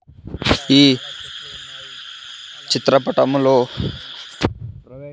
ఈ చిత్ర పటములో .